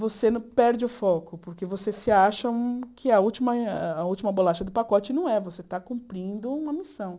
você perde o foco, porque você se acha um que a última ah que é a bolacha do pacote e não é, você está cumprindo uma missão.